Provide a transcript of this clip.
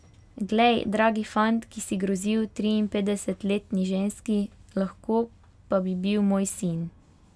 Glej, dragi fant, ki si grozil triinpetdesetletni ženski, lahko pa bi bil moj sin!